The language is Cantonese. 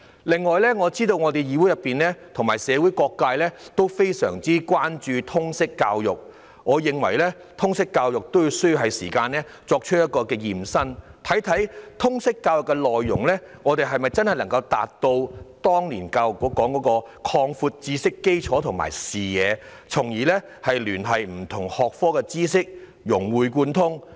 此外，我知道議會和社會各界均非常關注通識教育，我認為通識教育也是時間進行"驗身"，看看通識教育的內容能否真正達到當年教育局說的"擴闊知識基礎和視野"，從而聯繫不同學科的知識，融會貫通。